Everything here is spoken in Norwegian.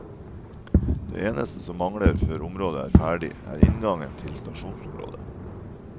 Det eneste som mangler før området er ferdig, er inngang til stasjonsområdet.